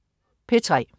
P3: